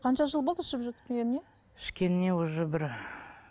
қанша жыл болды ішіп жүргеніне ішкеніне уже бір